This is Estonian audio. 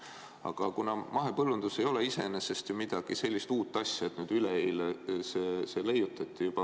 Aga mahepõllundus ei ole iseenesest ju mingi uus asi, et üleeile leiutati.